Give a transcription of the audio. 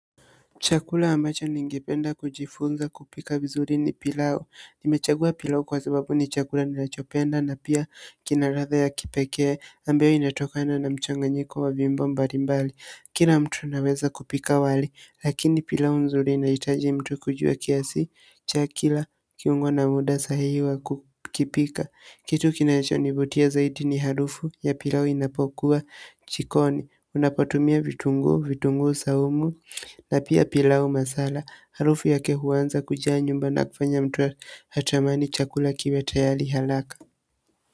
Chakula ambacho ningependa kujifunza kupika vizuri ni pilau. Nimechagua pilau kwa sababu ni chakula ninachopenda na pia kina ladha ya kipekee. Ambao inatokana na mchanganyiko wa viumbo mbali mbali. Kila mtu anaweza kupika wali. Lakini pilau kinahitaji mtu kujua kiasi cha kila kiungo na muda sahihi wa kukipika. Kitu kinachonivutia zaidi ni harufu ya pilau inapokuwa jikoni. Unapotumia vitunguu, vitunguu saumu. Na pia pilau masala, harufu yake huanza kujaa nyumba na kufanya mtu atamani chakula kiwe tayari haraka.